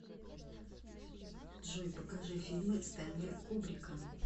джой покажи фильмы стэнли кубрика